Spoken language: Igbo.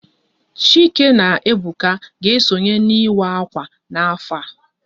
Chike na Ebuka ga-esonye n'ịwa akwa n'afọ a